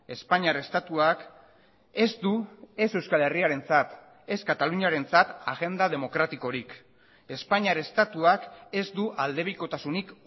espainiar estatuak ez du ez euskal herriarentzat ez kataluniarentzat agenda demokratikorik espainiar estatuak ez du aldebikotasunik